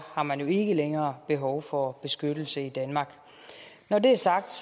har man ikke længere behov for beskyttelse i danmark når det er sagt